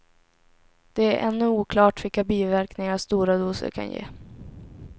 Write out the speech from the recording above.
Det är ännu oklart vilka biverkningar stora doser kan ge.